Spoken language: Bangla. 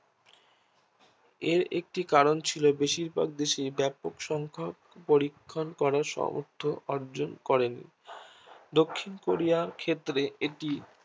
এর একটি কারণ ছিল বেশির ভাব দেশে ব্যাপক সংখ্যা পরীক্ষণ করার সামর্থ অর্জন করেন। দক্ষিণ কোরিয়ার ক্ষেত্রে এটি